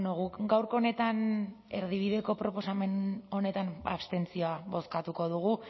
guk gaurko honetan erdibideko proposamen honetan abstentzioa bozkatuko dugu